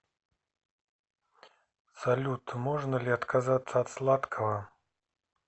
салют можно ли отказаться от сладкого